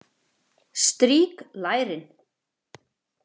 Strýk lærin.